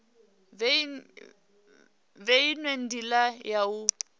fhe inwe ndila ya u